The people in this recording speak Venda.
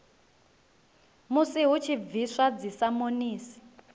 musi hu tshi bviswa dzisamonisi